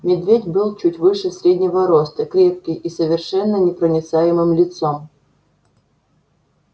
медведь был чуть выше среднего роста крепкий и с совершенно непроницаемым лицом